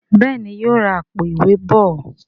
Béèni yóò rá Àpò-ìwé bọ